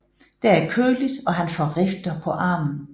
Der er køligt og han får rifter på armen